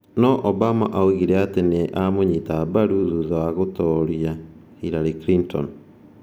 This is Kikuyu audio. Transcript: No Obama oigire atĩ nĩ 'aamũnyita mbaru' thutha wa gũtooria Hillary Clinton.